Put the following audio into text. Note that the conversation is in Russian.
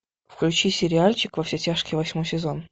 включи сериальчик во все тяжкие восьмой сезон